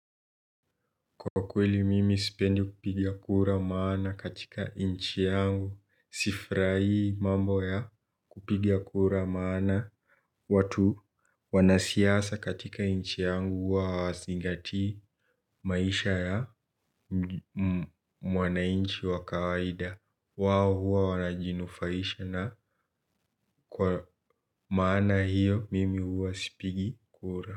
Kwa kweli mimi sipendi kupigia kura maana katika inchi yangu sifrahi mambo ya kupigia kura maana watu wanasiasa katika inchi yangu wa singati maisha ya mwananchi wa kawaida wao huwa wanajinufaisha na kwa maana hiyo mimi huwa sipigi kura.